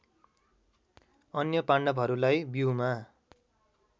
अन्य पाण्डवहरूलाई व्यूहमा